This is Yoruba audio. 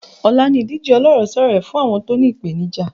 Ọ̀la ni ìdíje ọlọ́rẹ̀sọ́rẹ̀ẹ́ fún àwọn tó ní ìpènìjà ara